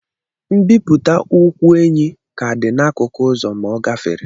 Mbipụta ụkwụ enyí ka dị n'akụkụ ụzọ ma ọ gafere.